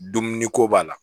Dumuni ko b'a la